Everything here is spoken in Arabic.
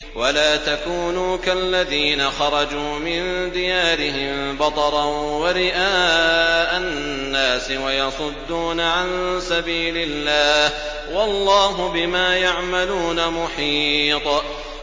وَلَا تَكُونُوا كَالَّذِينَ خَرَجُوا مِن دِيَارِهِم بَطَرًا وَرِئَاءَ النَّاسِ وَيَصُدُّونَ عَن سَبِيلِ اللَّهِ ۚ وَاللَّهُ بِمَا يَعْمَلُونَ مُحِيطٌ